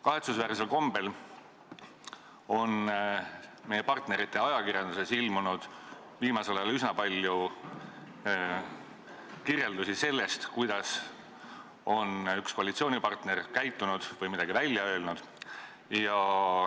Kahetsusväärsel kombel on meie läänepartnerite ajakirjanduses viimasel ajal ilmunud üsna palju kirjeldusi sellest, kuidas on Eestis mõni koalitsiooni esindaja käitunud või midagi välja öelnud.